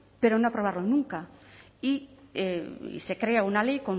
pero no aprobarlo nunca y se crea una ley